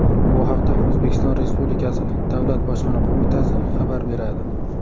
Bu haqda O‘zbekiston Respublikasi Davlat Bojxona qo‘mitasi xabar beradi .